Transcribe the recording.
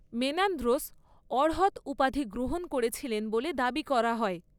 Menandros অর্হৎ উপাধি গ্রহণ করেছিলেন বলে দাবি করা হয়।